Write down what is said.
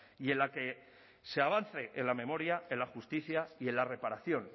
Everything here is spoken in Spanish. y en la que se avance en la memoria en la justicia y en la reparación